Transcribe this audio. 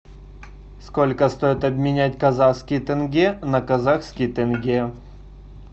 сколько стоит обменять казахские тенге на казахские тенге